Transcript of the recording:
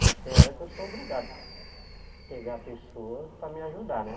Mas tem hora que eu sou obrigado a pegar pessoas para me ajudar, né?